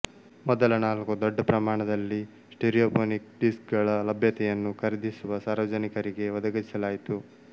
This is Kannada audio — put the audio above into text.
ಮೊದಲ ನಾಲ್ಕು ದೊಡ್ಡಪ್ರಮಾಣದಲ್ಲಿ ಸ್ಟಿರಿಯೊಫೊನಿಕ್ ಡಿಸ್ಕ್ ಗಳ ಲಭ್ಯತೆಯನ್ನು ಖರೀದಿಸುವ ಸಾರ್ವಜನಿಕರಿಗೆ ಒದಗಿಸಲಾಯಿತು